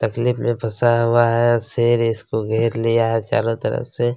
तकलीफ़ में फसा हुआ है शेर इसको घेर लिया है चारों तरफ से --